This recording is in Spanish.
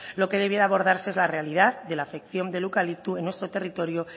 lo que debiera abordarse es la realidad de la afección del eucalipto en nuestro territorio